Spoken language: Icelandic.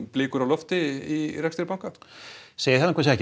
blikur á lofti í rekstri banka segi það ekki